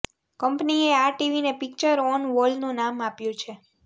કંપનીએ આ ટીવીને પિક્ચર ઓન વોલનું નામ આપ્યું છે